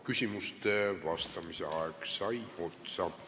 Küsimustele vastamise aeg sai otsa.